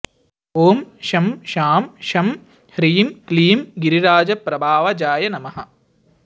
ॐ शं शां षं ह्रीं क्लीं गिरिराजप्रभावजाय नमः